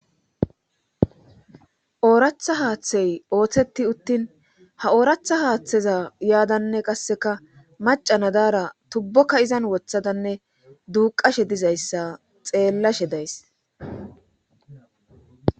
ooratha haaththey ooththeti uttin ha ooratha haaththeza yaadanne qasseka maca nadaara tubbokka izan wothadanne duuqashe dizayssa xeellashe days